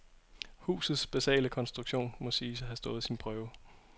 Husuts basale konstruktion må siges at have stået sin prøve.